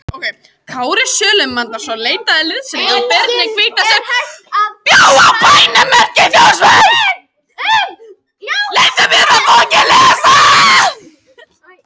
Kári Sölmundarson leitaði liðsinnis hjá Birni hvíta sem bjó á bænum Mörk í Þórsmörk.